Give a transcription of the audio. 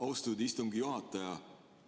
Austatud istungi juhataja!